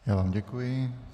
Já vám děkuji.